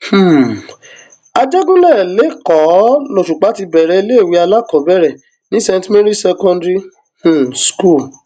um àjẹgúnlẹ lẹkọọ lọṣùpá ti bẹrẹ iléèwé àkàkọọbẹrẹ ní saint marys secondary um school